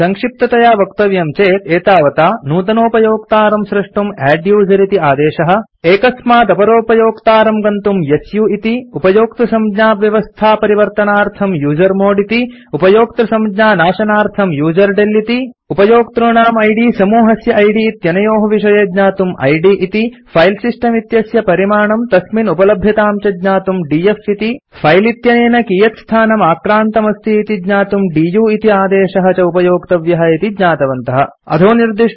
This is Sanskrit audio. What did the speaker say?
सङ्क्षिप्ततया वक्तव्यं चेत् एतावता नूतनोपयोक्तारं स्रष्टुम् अद्दुसेर इति आदेशः एकस्मात् अपरोपयोक्तारं प्रति गन्तुम् सु इति उपयोक्तृसंज्ञाव्यवस्था परिवर्तनार्थम् यूजर्मोड् इति उपयोक्तृसंज्ञानाशनार्थम् यूजरडेल इति उपयोक्तॄणाम् इद् समूहस्य इद् इत्यनयोः विषये ज्ञातुम् इद् इति फिले सिस्टम् इत्यस्य परिमाणं तस्मिन् उपलभ्यतां च ज्ञातुम् डीएफ इति फिले इत्यनेन कियत् स्थानम् आक्रान्तमस्ति इति ज्ञातुम् दु इति आदेशः च उपयोक्तव्यः इति ज्ञातवन्तः अत्र असौ पाठ समाप्यते